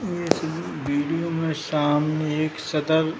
इस वीडियो में सामने एक सदर --